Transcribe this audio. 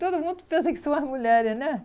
Todo mundo pensa que são as mulheres, né?